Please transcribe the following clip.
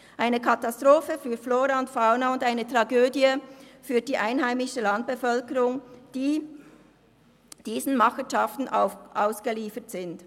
Es ist eine Katastrophe für Flora und Fauna und eine Tragödie für die einheimische Landbevölkerung, die diesen Machenschaften ausgeliefert ist.